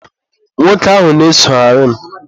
nwoke ahụ na-esogharị m.